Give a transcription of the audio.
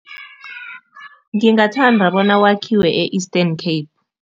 Ngingathanda bona wakhiwe e-Eastern Cape.